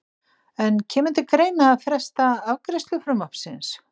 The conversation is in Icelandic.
En kemur til greina að fresta afgreiðslu frumvarpsins?